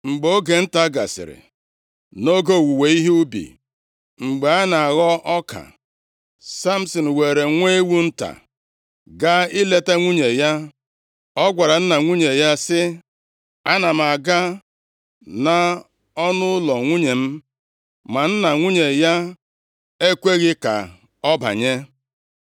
Mgbe oge nta gasịrị, nʼoge owuwe ihe ubi, mgbe a na-aghọ ọka, Samsin weere nwa ewu + 15:1 Mgbe nwoke lụrụ nwanyị, ọ bụrụ na nna nwanyị dị otu a a naraghị ego isi akụ, ọ bụ onyinye nwa ewu nta ka ọ ga-ewegara nwunye ya ahụ, mgbe ọbụla ọ gara ihu ya. Nwanyị ahụ ga-ebikwa nʼụlọ nna ya, nʼihi na nna ya a naghị ego akụ nʼisi ya. Ma mgbe ọbụla di nwanyị ahụ ga-abịa, ọ ga-ewetara ọgọ ya ọtụtụ onyinye. Nwa ewu nta bụ onyinye onye ọbụla na-enye nʼoge ahụ. \+xt Jen 38:17\+xt* nta, gaa ileta nwunye ya. O gwara nna nwunye ya sị, “Ana m aga nʼọnụụlọ nwunye m.” Ma nna nwunye ya ekweghị ka ọ banye.